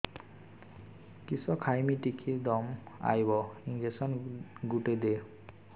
କିସ ଖାଇମି ଟିକେ ଦମ୍ଭ ଆଇବ ଇଞ୍ଜେକସନ ଗୁଟେ ଦେ